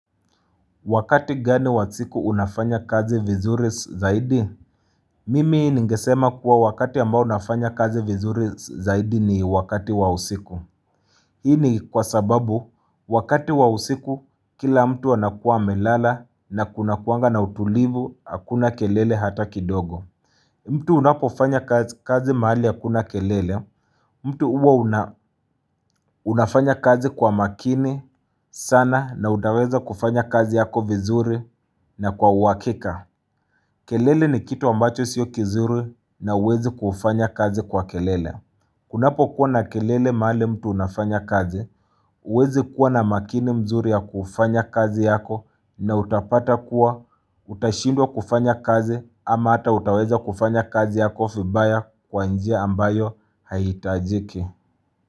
Wakati gani wa siku unafanya kazi vizuri zaidi? Mimi ningesema kuwa wakati ambao nafanya kazi vizuri zaidi ni wakati wa usiku. Ini kwa sababu wakati wa usiku kila mtu wanakua melala na kunakuanga na utulivu akuna kelele hata kidogo. Mtu unapofanya kazi mahali ya kuna kelele, mtu uwa unafanya kazi kwa makini sana na utaweza kufanya kazi yako vizuri na kwa uhakika. Kelele ni kitu ambacho siyo kizuri na uwezi kufanya kazi kwa kelele. Kunapo kuwa na kelele mahali mtu unafanya kazi, uwezi kuwa na makini mzuri ya kufanya kazi yako na utapata kuwa utashindwa kufanya kazi ama ata utaweza kufanya kazi yako vibaya kwa njia ambayo haitajiki.